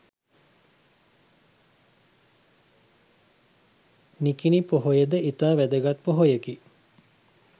නිකිණි පොහොය ද ඉතා වැදගත් පොහොයකි